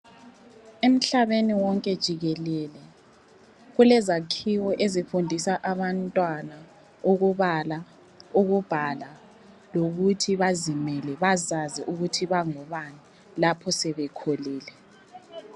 Emhlabeni wonke jikelele kulezakhiwo ezifundisa abantwana ukubala, ukubhala lokuthi bazimele bazazi ukuthi bangobani lapho sebekhulile.